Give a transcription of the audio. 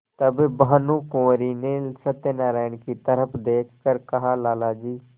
तब भानुकुँवरि ने सत्यनारायण की तरफ देख कर कहालाला जी